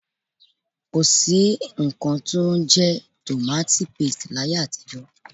Ko sí nnkan tí ó ń jẹ́ tomati paste láyé àtijó.